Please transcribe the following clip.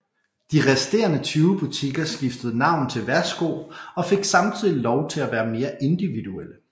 De resterende 20 butikker skiftede navn til Værsgo og fik samtidig lov til at være mere individuelle